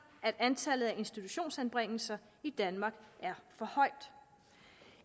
at antallet af institutionsanbringelser i danmark er for højt